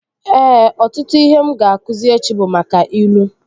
Ee, ọtụtụ ihe m ga-akụzi echi bụ maka ilu